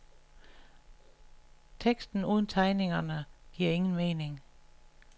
Teksten uden tegningerne giver ingen mening.